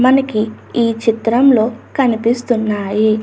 మనకి ఈ చిత్రం లో కనిపిస్తున్నాయి.